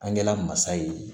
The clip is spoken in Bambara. An kɛla mansa ye